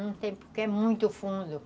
Não tem, porque é muito fundo.